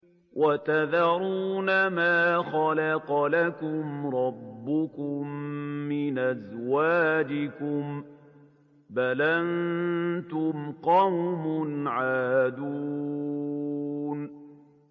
وَتَذَرُونَ مَا خَلَقَ لَكُمْ رَبُّكُم مِّنْ أَزْوَاجِكُم ۚ بَلْ أَنتُمْ قَوْمٌ عَادُونَ